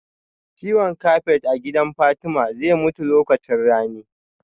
Ciwon kafet a gidan Fatma zai mutu lokacin rani